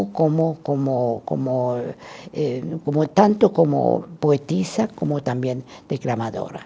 Como, como, como eh, como tanto como poetisa, como também declamadora.